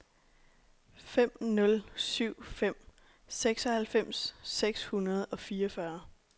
fem nul syv fem seksoghalvfems seks hundrede og fireogfyrre